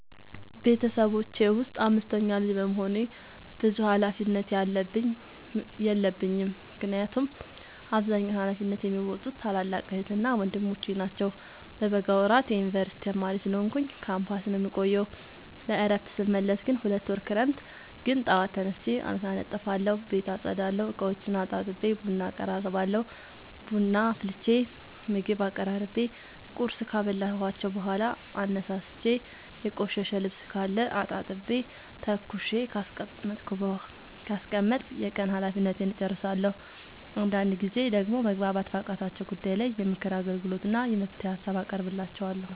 ቤተሰቦቼ ውስጥ አምስተኛ ልጅ በመሆኔ ብዙ ሀላፊነት የለብኝ ምክንያቱን አብዛኛውን ሀላፊነት የሚዎጡት ታላላቅ ዕህትና ወንድሞቼ ናቸው። በበጋ ወራት የዮንበርሲቲ ተማሪ ስለሆንኩኝ ካምፖስ ነው የምቆየው። ለእረፍት ስመለስ ግን ሁለት ወር ክረምት ግን ጠዋት ተነስቼ አልጋ አነጥፋለሁ ቤት አፀዳለሁ፤ እቃዎቹን አጣጥቤ ቡና አቀራርባለሁ ቡና አፍልቼ ምግብ አቀራርቤ ቁርስ ካበላኋቸው በኋላ አነሳስቼ። የቆሸሸ ልብስካለ አጣጥቤ ተኩሼ ካስቀመጥኩ የቀን ሀላፊነቴን እጨርሳለሁ። አንዳንድ ጊዜ ደግሞ መግባባት ባቃታቸው ጉዳይ ላይ የምክር አገልግሎት እና የመፍትሄ ሀሳብ አቀርብላቸዋለሁ።